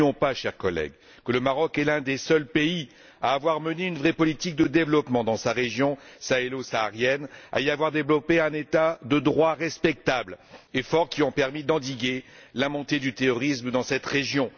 N'oublions pas, chers collègues, que le Maroc est l'un des seuls pays à avoir mené une vraie politique de développement dans sa région sahélo saharienne, à y avoir développé un État de droit respectable et fort, lesquels ont permis d'endiguer la montée du terrorisme dans cette région.